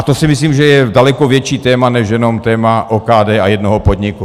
A to si myslím, že je daleko větší téma než jenom téma OKD a jednoho podniku.